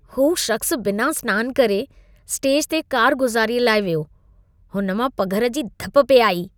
हू शख़्सु बिना सनानु करे, स्टेज ते कारगुज़ारी लाइ वियो। हुन मां पघर जी धप पेई आई।